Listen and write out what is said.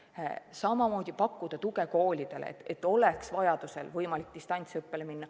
Samamoodi pakkuda tuge koolidele, et vajaduse korral oleks võimalik distantsõppele minna.